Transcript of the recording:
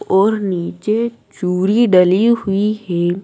और नीचे चूड़ी डली हुई है।